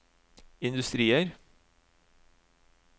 industrier